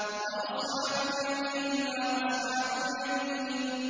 وَأَصْحَابُ الْيَمِينِ مَا أَصْحَابُ الْيَمِينِ